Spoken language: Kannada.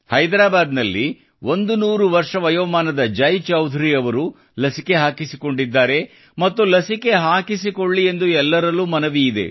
ಹೈದ್ರಾಬಾದ್ನಲ್ಲಿ 100 ವರ್ಷ ವಯೋಮಾನದ ಜೈಚೌಧರಿ ಅವರು ಲಸಿಕೆ ಹಾಕಿಸಿಕೊಂಡಿದ್ದಾರೆ ಮತ್ತು ಲಸಿಕೆ ಹಾಕಿಸಿಕೊಳ್ಳಿ ಎಂದು ಎಲ್ಲರಲ್ಲೂ ಮನವಿ ಇದೆ